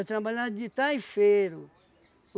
Eu trabalhava de taifeiro.